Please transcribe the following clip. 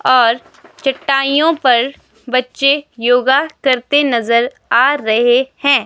और चटाइयों पर बच्चें योगा करते नजर आ रहे हैं।